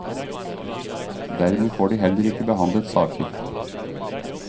Dermed får de heller ikke behandlet saker.